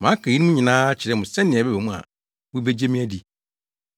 Maka eyinom akyerɛ mo sɛnea ɛba mu a mubegye me adi.